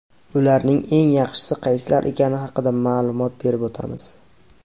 Ularning eng yaxshisi qaysilar ekani haqida ma’lumot berib o‘tamiz.